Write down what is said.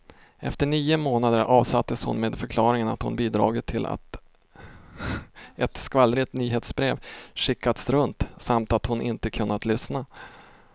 Efter nio månader avsattes hon med förklaringen att hon bidragit till att ett skvallrigt nyhetsbrev skickats runt, samt att hon inte kunnat lyssna.